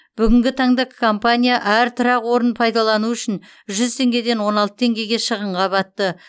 бүгінгі таңда компания әр тұрақ орнын пайдалану үшін жүз теңгеден он алты теңгеге шығынға батты